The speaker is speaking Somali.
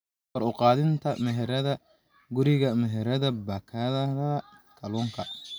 Kor u qaadida meheradaha guriga meheradaha baakadaha kalluunka.